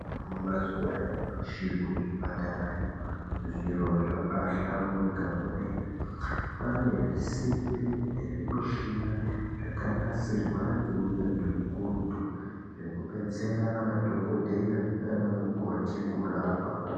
Mazuwa anyamashi kuzvipatarayo zviro zvabaahlamburika kwemene. Kwaane zvisimbi nezvimushina zvakanasirwa ngeunyanzvi ukurutu, zvekudetsera madhokodheya naanamukoti kurapa.